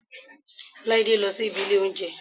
Láídé lọ sí ibi ilé óúnjẹ